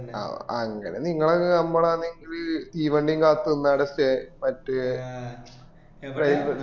അങ്ങനെ നിങ്ങളെ ഒക്കെ നൻപാണെനിക്കില് തീവണ്ടി കത്ത് നിന്ന് അവിട stay